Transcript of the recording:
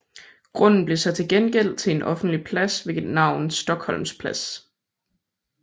Grunden blev så til gengæld til en offentlig plads ved navn Stockholms Plads